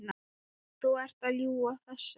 Þú ert að ljúga þessu!